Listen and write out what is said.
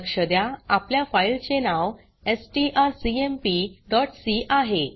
लक्ष द्या आपल्या फाइल चे नाव strcmpसी आहे